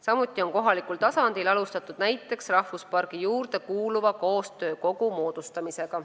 Samuti on kohalikul tasandil alustatud näiteks rahvuspargi juurde kuuluva koostöökogu moodustamist.